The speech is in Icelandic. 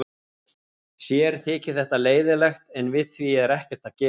Sér þyki þetta leiðinlegt en við því sé ekkert að gera.